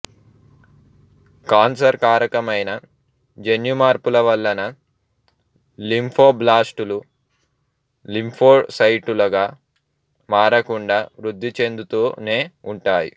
cancer కారకమైన జన్యుమార్పుల వలన లింఫోబ్లాస్టులు లింఫోసైట్లుగా మారకుండా వృద్ధి చెందుతూనే ఉంటాయి